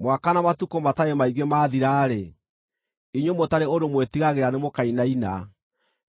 Mwaka na matukũ matarĩ maingĩ maathira-rĩ, inyuĩ mũtarĩ ũndũ mwĩtigagĩra, nĩmũkainaina;